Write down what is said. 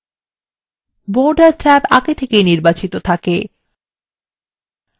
border tab আগে থেকেই নির্বাচিত থাকে